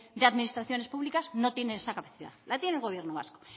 de administraciones públicas no tiene esa capacidad la tiene el gobierno vasco